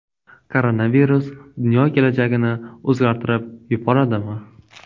Koronavirus dunyo kelajagini o‘zgartirib yuboradimi?